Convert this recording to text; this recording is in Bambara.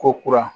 Ko kura